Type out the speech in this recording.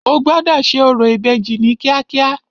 O gbọ́dọ̀ ṣe orò ìbejì ní kíákíá.